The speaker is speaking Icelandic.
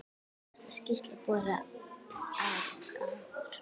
Hafa þessar skýrslur borið árangur?